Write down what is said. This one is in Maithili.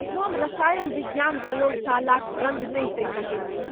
हम रसायन विज्ञान प्रयोगशालाक गन्ध नहि सहि सकैत छी।